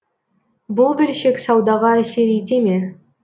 бұл бөлшек саудаға әсер ете ме